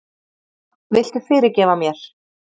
Viltu fyrirgefa mér?